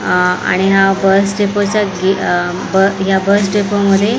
आणि हा बस डेपोच्या गे अ या बस डेपोमध्ये --